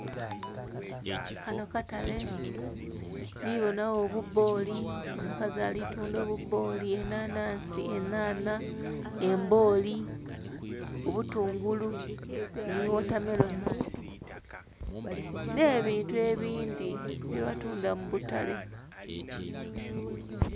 Kano katale, ndhibona agho obuboli, omukazi alikutundha obuboli, enhanhansi, enhanha, emboli, obutungulu, ni wotameloni nebintu ebindhi byebatundha mubutale.